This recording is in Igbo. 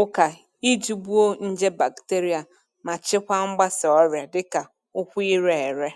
ụka iji gbuo nje bakiterịa ma chịkwaa mgbasa ọrịa dịka ụkwụ ire ere.